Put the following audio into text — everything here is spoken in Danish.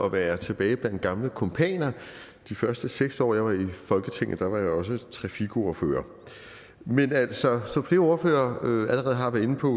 at være tilbage blandt gamle kumpaner de første seks år jeg var i folketinget var jeg også trafikordfører men altså som flere ordførere allerede har været inde på